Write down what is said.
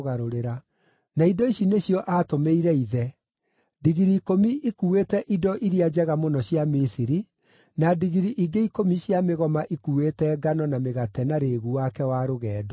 Na indo ici nĩcio aatũmĩire ithe: Ndigiri ikũmi ikuuĩte indo iria njega mũno cia Misiri, na ndigiri ingĩ ikũmi cia mĩgoma ikuuĩte ngano na mĩgate na rĩĩgu wake wa rũgendo.